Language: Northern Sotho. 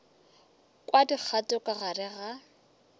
kwa dikgato ka gare ga